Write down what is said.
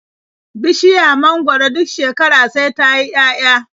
Bishiya mangwaro duk shekara sai ta yi 'ya'ya.